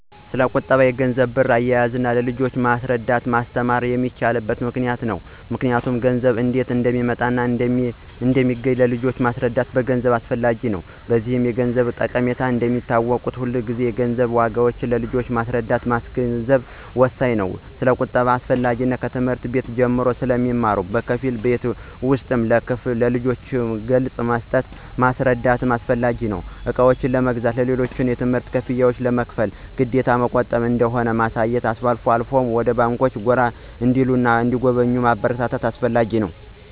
ስለቁጠባ፣ የገንዘብና ብር አያያዝ ለልጆች ማስረዳትና ማስተማር የሚቻለው በምክንያት ነው ምክንያቱም ገንዘብ እንዴት እንደሚመጣና እንደሚገኝ ለልጆች ማስረዳትና ማስገንዘብ አስፈላጊ ነው። በዚህም የገንዘብን ጠቀሜታ እንደሚያውቁት ሁሉ የገንዘብን ዋጋ ለልጆች ማስረዳትና ማስገንዘብ ወሳኝ ነው። ስለቁጠባ አስፈላጊነት ከትምህርት ቤት ጀምሮ ስለሚማሩ በከፊል ቤት ውስጥም ለልጆች ገለፃ መስጠትና ማስረዳት አስፈላጊ ነው። እቃዎችን ለመግዛት፣ ሌሎችንም የትምህርት ክፍያ ለመክፈል ግዴታ መቆጠብ እንደሆነ ማሳየትና አልፎ አልፎም ወደ ባንኮች ጎራ እንዲሉና እንዲጎበኙ ማበረታታት አስፈላጊ ነው።